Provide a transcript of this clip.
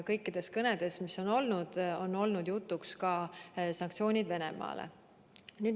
Kõikides kõnedes, mis on olnud, on olnud jutuks ka sanktsioonid Venemaale.